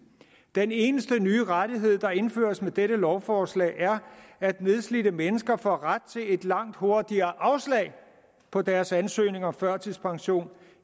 den eneste nye rettighed der indføres med dette lovforslag er at nedslidte mennesker får ret til et langt hurtigere afslag på deres ansøgning om førtidspension